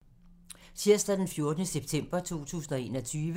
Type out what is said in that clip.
Tirsdag d. 14. september 2021